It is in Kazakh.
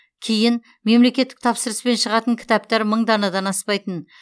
кейін мемлекеттік тапсырыспен шығатын кітаптар мың данадан аспайтын